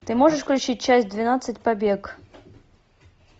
ты можешь включить часть двенадцать побег